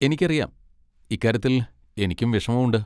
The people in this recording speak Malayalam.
എനിക്കറിയാം! ഇക്കാര്യത്തിൽ എനിക്കും വിഷമമുണ്ട്.